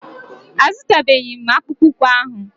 A zụtabeghi m akpụkpụ ụkwụ ahụ.